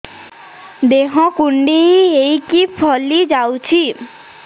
ଦେହ କୁଣ୍ଡେଇ ହେଇକି ଫଳି ଯାଉଛି